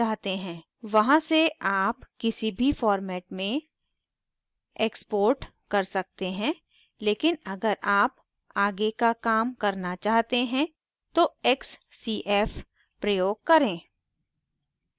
वहां से आप किसी भी format में export कर सकते हैं लेकिन अगर आप आगे का काम करना चाहते हैं तो xcf प्रयोग करें